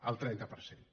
el trenta per cent